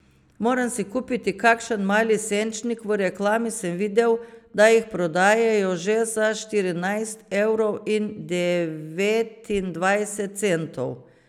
Moram si kupiti kakšen mali senčnik, v reklami sem videl, da jih prodajajo že za štirinajst evrov in devetindvajset centov.